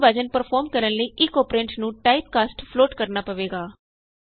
ਮੂਲ ਵਿਭਾਜਨ ਪਰਫੋਰਮ ਕਰਨ ਲਈ ਇਕ ਅੋਪਰੈਂਡ ਨੂੰ ਟਾਈਪਕਾਸਟ ਫਲੋਟ ਕਰਨਾ ਹੋਏਗਾ